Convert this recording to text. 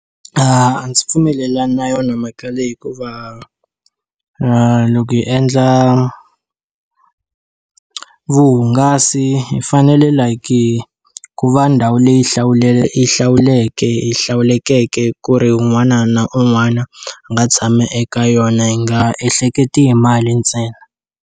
A ndzi pfumelelani na yona mhaka leyi hikuva loko hi endla vuhungasi hi fanele like-i ku va ndhawu leyi yi yi hlawulekeke ku ri un'wana na un'wana, a nga tshama eka yona hi nga ehleketi hi mali ntsena.